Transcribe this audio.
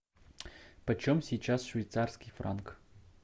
почем сейчас швейцарский франк